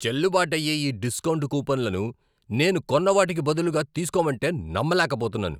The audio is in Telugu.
చెల్లుబాటు అయ్యే ఈ డిస్కౌంట్ కూపన్లను నేను కొన్న వాటికి బదులుగా తీస్కోవంటే నమ్మలేకపోతున్నాను.